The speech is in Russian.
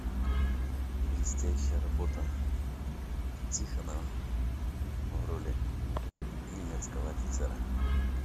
блестящая работа тихонова в роли немецкого офицера